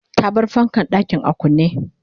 ta bar fankan ɗakin a kunne